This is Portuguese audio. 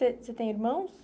Você você tem irmãos?